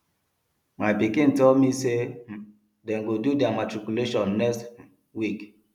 my pikin tell me me say um dey go do their matriculation next um week